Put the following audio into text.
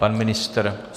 Pan ministr?